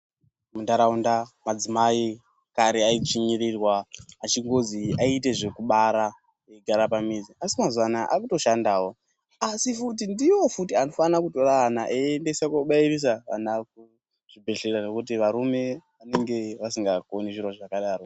Mundaraunda madzimai ekare ayidzvinyirirwa achingozi ayite zvekubara kugara pamuzi achingozi aite zvekubara kugara pamizi asi mazuvaano ava kutoshandawo asi futi ndiwo futi anofanira kutira vana eyiendesa kunobayirisa vana kuzvibhedhlera nekuti varume vanenge vasinga koni kuite zviro zvakadaro.